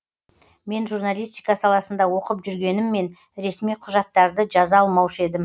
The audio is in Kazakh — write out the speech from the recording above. мен журналистика саласында оқып жүргеніммен ресми құжаттарды жаза алмаушы едім